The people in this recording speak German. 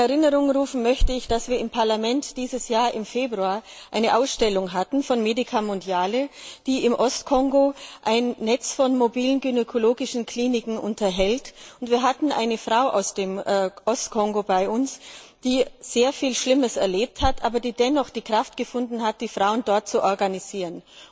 In Erinnerung rufen möchte ich, dass wir im Parlament dieses Jahr im Februar eine Ausstellung von Medica Mondiale hatten, die im Ostkongo ein Netz von mobilen gynäkologischen Kliniken unterhält, und eine Frau aus dem Ostkongo bei uns hatten, die sehr viel Schlimmes erlebt hat, aber die dennoch die Kraft gefunden hat, die Frauen dort zu organisieren.